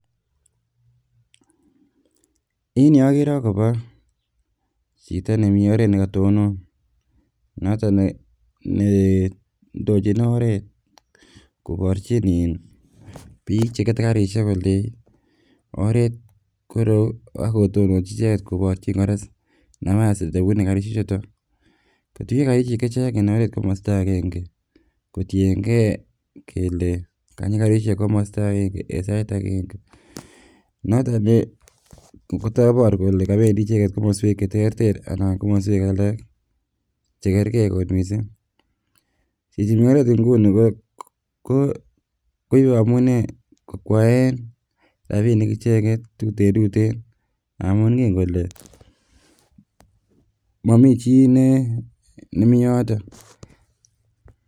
En yuu okere akobo chito nemii oret nekotonon noton ne neindochin oret koborchin in biik chekete karisiek kolei oret koreyu akotononchi icheket koborchin kora nafas nebune karisiek chuton, kotuiyo karisiek chechang en oret komosta agenge kotiengee kele kanyi karisiek komosta agenge en sait agenge noton ih kotobor kole kobendii icheket komoswek cheterter anan komoswek alak chekergee kot missing. Chichi mii oret nguni ko koibe amune kokwaen rapinik icheket tutentuten amun ngen kole momii chii ne nemii yoton